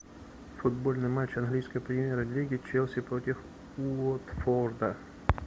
футбольный матч английской премьер лиги челси против уотфорда